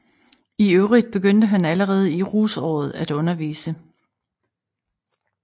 I øvrigt begyndte han allerede i rusåret at undervise